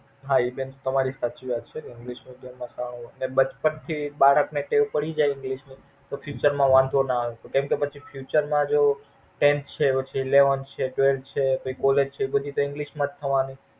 હા એ બેન તમારી સાચી વાત છે English માં સાવ બચપણ થી બાળક ન ટેવ પડી જાય English નું તો The future વાંધો નો આવે કેમ કે પછી જો Tenth છે Eleven છે Tawelth છે પછી કોલેજ છે એ બધું તો English માં જ થવા નું છે.